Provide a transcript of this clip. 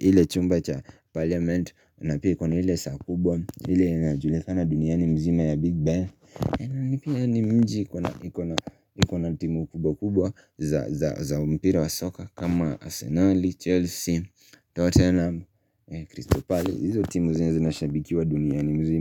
ile chumba cha parliament na pia ikona ile saa kubwa ile na julikana duniani mzima ya Big Bang na pia ni mji ikona timu kubwa kubwa za mpira wa soka kama Arsenal, Chelsea, Tottenham, Crystal palace Izo timu zinashabikiwa duniani mzima.